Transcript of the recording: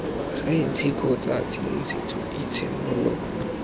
saense kgotsa tshedimosetso eo tshenolo